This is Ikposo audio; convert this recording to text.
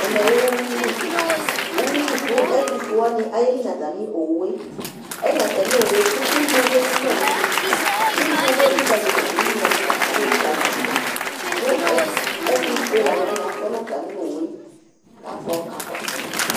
ɛmɛ lɛ uwui li , uwui li ku ɛtu fue alu wʋani ayeli nu ata mi owue, ayeli nu ata mi owue ku ugni abe ku ma n'une ugnie abe li kali ma du, ugni ɛfua agbeli kali ma du, ku ɛtu fue lani wʋani atɔ nu ata mi owue kakɔ kakɔsu